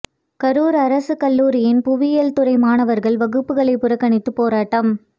கரூர் அரசு கல்லூரியின் புவியியல் துறை மாணவர்கள் வகுப்புகளை புறக்கணித்து போராட்டம்